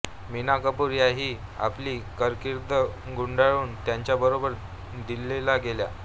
मीना कपूर याही आपली कारकीर्द गुंडाळून त्यांच्याबरोबर दिल्लीला गेल्या